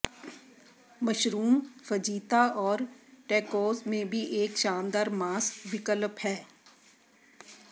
mushroom fajita और tacos में भी एक शानदार मांस विकल्प हैं